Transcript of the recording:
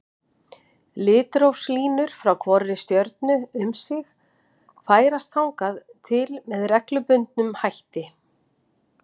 Litrófslínur frá hvorri stjörnu um sig færast þannig til með reglubundnum hætti.